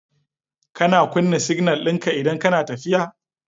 Kana kuna signal dinka idan kana tafiya